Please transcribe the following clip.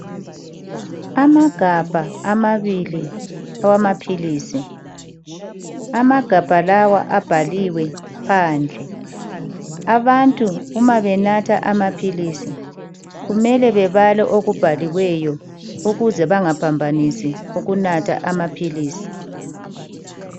Amagabha amabili awamaphilisi. Amagabha lawa abhaliwe phandle. Abantu uma benatha amaphilisi kumele bebale okubhaliweyo ukuze bangaphambanisi ukunatha amaphilisi.